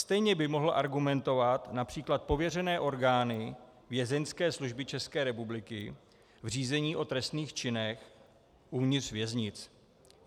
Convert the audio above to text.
Stejně by mohly argumentovat například pověřené orgány Vězeňské služby České republiky v řízení o trestných činech uvnitř věznic.